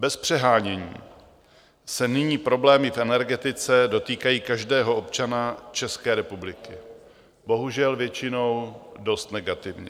Bez přehánění se nyní problémy v energetice dotýkají každého občana České republiky, bohužel většinou dost negativně.